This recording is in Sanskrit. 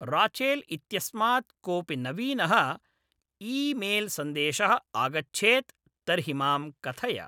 राचेल् इत्यस्मात् कोपि नवीनः ई्मेल्सन्देशः आगच्छेत् तर्हि मां कथय